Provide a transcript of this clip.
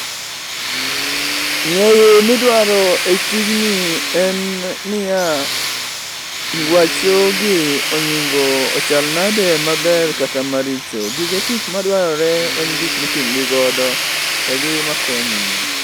Ng'eyo midwaro e tijni en niya: ngwacho gi ony'igo ochal nade maber kata maricho, gige tich madwarore en gik miting'ogi godo to gi makonyi.